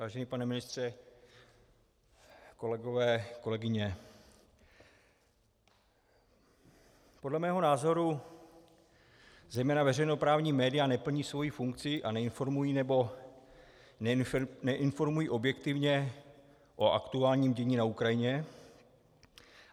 Vážený pane ministře, kolegové, kolegyně, podle mého názoru zejména veřejnoprávní média neplní svou funkci a neinformují, nebo neinformují objektivně o aktuálním dění na Ukrajině.